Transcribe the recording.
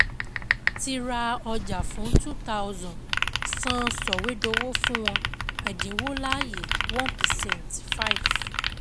Ti ra ọjà fún two thousand san sọ̀wédowó fún wọn, ẹ̀dínwó láàyè one percent five